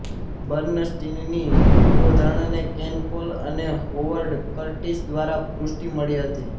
બર્ન્સ્ટીનની પૂર્વધારણાને Ken Cole અને Howard Curtis દ્વારા પુષ્ટિ મળી હતી